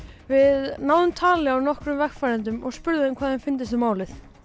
við náðum tali af og spurðum þau hvað þeim fyndist um málið